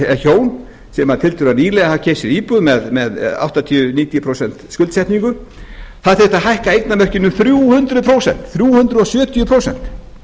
sem hjón sem tiltölulega nýlega hafi keypt sér íbúð með áttatíu til níutíu prósent skuldsetningu það þyrfti að hækka eignamörkin um þrjú hundruð prósent þrjú hundruð sjötíu prósent